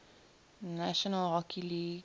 national hockey league